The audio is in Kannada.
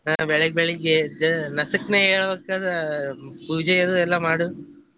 ಹಾ ಬೆಳಿಗ್ ಬೆಳಿಗ್ಗೆ ಎದ್ದ ನಸಕೀನ್ಯಾಗ ಏಳಗೂಡಕ ಅಂದ್ರ ಪೂಜೆದು ಎಲ್ಲಾ ಮಾಡುದ್.